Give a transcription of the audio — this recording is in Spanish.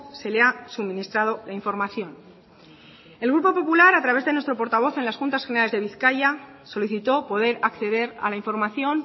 se le ha suministrado información el grupo popular a través de nuestro portavoz en las juntas generales de bizkaia solicitó poder acceder a la información